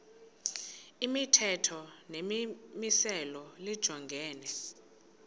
imithetho nemimiselo lijongene